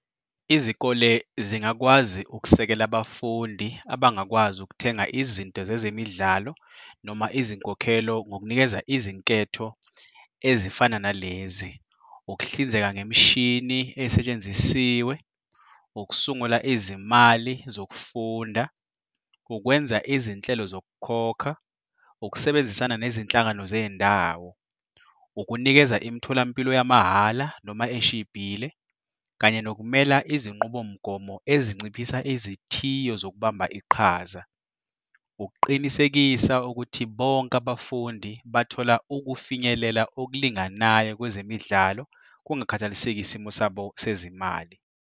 Izikole zingakwazi ukusekela abafundi abangakwazi ukuthenga izinto zezemidlalo noma izinkokhelo ngokunikeza izinketho ezifana nalezi, ukuhlinzeka ngemishini esetshenzisiwe, ukusungula izimali zokufunda, ukwenza izinhlelo zokukhokha, ukusebenzisana nezinhlangano zey'ndawo, ukunikeza imitholampilo yamahhala noma eshibhile, kanye nokumela izinqubomgomo ezinciphisa izithiyo zokubamba iqhaza, ukuqinisekisa ukuthi bonke abafundi bathola ukufinyelela okulinganayo kwezemidlalo kungakhathaliseki isimo sabo sezimali.